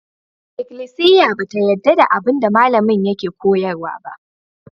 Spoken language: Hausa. Ikklisiya ba ta yarda da abin da malamin yake koyarwa ba.